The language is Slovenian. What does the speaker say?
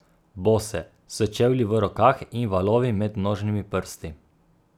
Bose, s čevlji v rokah in valovi med nožnimi prsti.